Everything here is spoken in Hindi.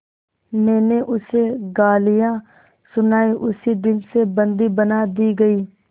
मैंने उसे गालियाँ सुनाई उसी दिन से बंदी बना दी गई